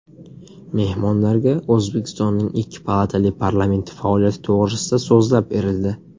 Mehmonlarga O‘zbekistonning ikki palatali parlamenti faoliyati to‘g‘risida so‘zlab berildi.